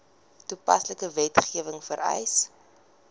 toepaslike wetgewing vereis